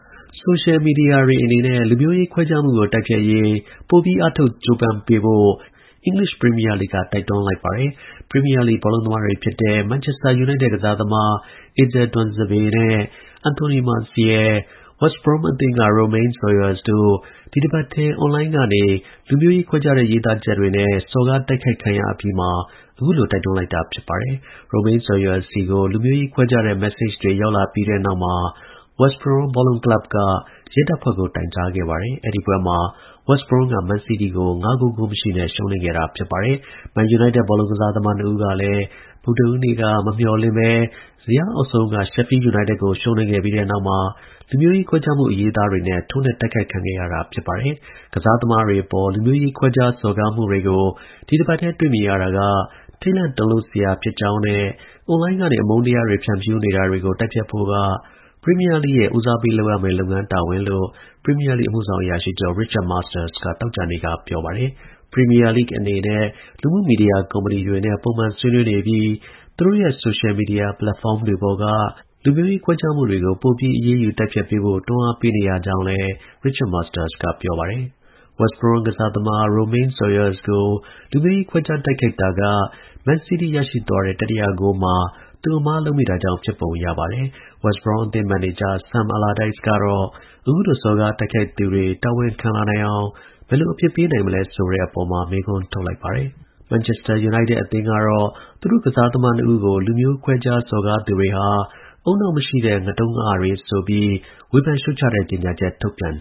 ဆိုရှယ်မီဒီယာတွေအနေနဲ့ လူမျိုးရေးခွဲခြားမှုကို တိုက်ဖျက်ရေး ပိုပြီး အားထုတ်ကြိုးပမ်းပေးဖို့ အင်္ဂလိပ် ပရီးမီးယားလိဂ်က တိုက်တွန်းလိုက်ပါတယ်။ ပရီးမီးယားလိဂ် ဘောလုံးသမားတွေဖြစ်တဲ့ မန်ချက်စတာယူနိုက်တက် ကစားသမား Axel Tuanzebe နဲ့ Anthony Martial၊ West Brom အသင်းက Romaine Sawyers တို့ ဒီတပတ်တည်း အွန်လိုင်းကနေ လူမျိုးရေးခွဲခြားတဲ့ ရေးသားချက်တွေနဲ့ စော်ကားတိုက်ခိုက်ခံရအပြီးမှာ အခုလို တိုက်တွန်းလိုက်တာပါ။ Romaine Sawyers ဆီကို လူမျိုးရေးခွဲခြားတဲ့ မက်ဆေ့ချ်တွေ ရောက်လာပြီးတဲ့နောက်မှာ West Brom ဘောလုံးကလပ်က ရဲကို တိုင်ကြားခဲ့ပါတယ်။ အဲဒီပွဲမှာ West Brom က မန်းစီးတီးကို ၅ ဂိုး ဂိုးမရှိတဲ့ ရှုံးနိမ့်ခဲ့တာပါ။ မန်ချက်စတာယူနိုက်တက် ဘောလုံးသမား နှစ်ဦးကလည်း ဗုဒ္ဓဟူးနေ့က မမျှော်လင့်ဘဲ ဇယားအောက်ဆုံးက Sheffield United အသင်းကို ရှုံးနိမ့်ပြီးတဲ့နောက်မှာ လူမျိုးရေးခွဲခြားမှု အရေးအသားတွေနဲ့ ထိုးနှက် တိုက်ခိုက်ခံရတာ ဖြစ်ပါတယ်။ ကစားသမားတွေအပေါ် လူမျိုးရေးခွဲခြား စော်ကားမှုတွေကို ဒီတပတ်တည်း တွေ့မြင်ရတာက ထိတ်လန့်တုန်လှုပ်စရာ ဖြစ်ကြောင်းနဲ့ အွန်လိုင်းကနေ အမုန်းတရားတွေ ဖြန့်ဖြူးနေတာကို တိုက်ဖျက်ဖို့က ပရီးမီးယားလိဂ်ရဲ့ ဦးစားပေးရမယ့် လုပ်ငန်းတာဝန်လို့ ပရီးမီးယားလိဂ် အမှုဆောင် အရာရှိချုပ် Richard Masters က သောကြာနေ့က ပြောပါတယ်။ လူမှုမီဒီယာ ကုမ္ပဏီတွေနဲ့ ပုံမှန်ဆွေးနွေးနေပြီး သူတို့ရဲ့ ဆိုရှယ်မီဒီယာ ပလက်ဖောင်းတွေပေါ်က လူမျိုးရေး ခွဲခြားမှုတွေကို ပိုပြီး အရေးယူ တိုက်ဖျက်ပေးဖို့ တွန်းအားပေးနေရကြောင်းလည်း Richard Masters က ပြောပါတယ်။ West Brom ကစားသမား Romaine Sawyers ကို လူမျိုးရေး ခွဲခြားတိုက်ခိုက်တာက မန်းစီးတီးရရှိသွားတဲ့ တတိယဂိုးမှာ သူ အမှားလုပ်မိတာကြောင့် ဖြစ်ပုံရပါတယ်။ West Brom အသင်း မန်နေဂျာ Sam Allardyce ကတော့ အခုလို စော်ကားတိုက်ခိုက်သူတွေ တာဝန်ခံလာနိုင်အောင် ဘယ်လို အပြစ်ပေးနိုင်မလဲ ဆိုတဲ့အပေါ်မှာ မေးခွန်းထုတ်လိုက်ပါတယ်။ မန်ချက်စတာယူနိုက်တက် အသင်းကတော့ သူတို့ကစားသမားနှစ်ဦးကို လူမျိုးခွဲခြား စော်ကားသူတွေဟာ ဦးနှောက်မရှိတဲ့ ငတုံးငအတွေဆိုပြီး ဝေဖန်ရှုတ်ချတဲ့ ကြေညာချက် ထုတ်ပြန်